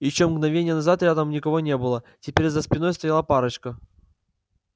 ещё мгновение назад рядом никого не было теперь за спиной стояла парочка